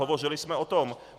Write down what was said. Hovořili jsme o tom.